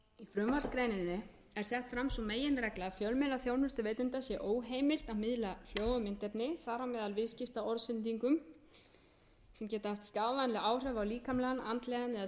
sett fram sú meginregla að fjölmiðlaþjónustuveitanda sé óheimilt að miðla hljóð og myndefni þar á meðal viðskiptaorðsendingum sem geta haft skaðvænleg áhrif á líkamlegan andlegan eða siðferðilegan þroska barna einkum og sér